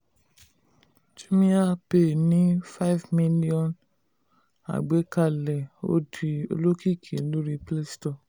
jumiapay ní five million agbàkalẹ̀ ó di olókìkí lórí playstore.